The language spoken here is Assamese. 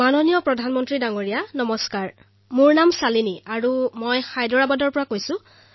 আদৰণীয় প্ৰধানমন্ত্ৰী মহোদয় নমস্কাৰ মোৰ নাম শালিনী আৰু মই হায়দৰাবাদৰ পৰা কৈ আছো